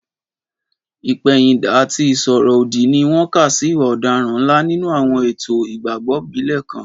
Ìpẹ̀yìndà àti ìsọ̀rọ̀ òdì ni wọ́n kà sí ìwà ọ̀daràn ńlá nínú àwọn ètò ìgbàgbọ́ ìbílẹ̀ kan.